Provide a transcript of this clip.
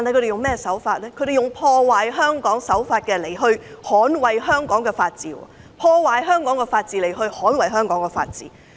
他們採用破壞香港的手法來捍衞香港的法治，透過破壞香港的法治來捍衞香港的法治。